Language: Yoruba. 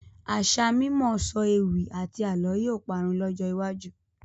Àṣà mímọ sọ ewì àti àálọ́ yìí ó parun lọ́jọ́ iwájú